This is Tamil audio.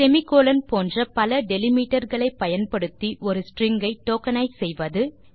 semi கோலோன் போன்ற பல டெலிமிட்டர் களை பயன்படுத்தி ஒரு ஸ்ட்ரிங் ஐ டோக்கனைஸ் செய்வது